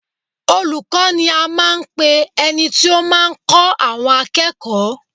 Olùkọ́ ni a máa ń pe ẹni tí ó máa ń kọ́ àwọn akẹ́kọ̀ọ́